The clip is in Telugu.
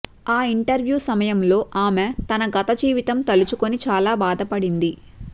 ఆ ఇంటర్వూ సమయంలో ఆమె తన గత జీవితం తలుచుకుని చాలా బాధపడింది